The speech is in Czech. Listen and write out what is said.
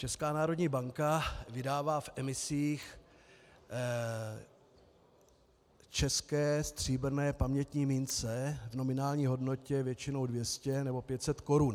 Česká národní banka vydává v emisích české stříbrné pamětní mince v nominální hodnotě většinou 200 nebo 500 korun.